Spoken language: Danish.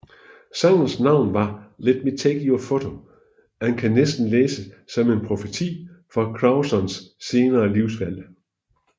Sangens navn var Let Me Take Your Photo og kan næsten læses som en profeti for Crewdsons senere livsvalg